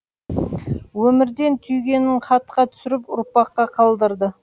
өмірден түйгенін хатқа түсіріп ұрпаққа қалдырды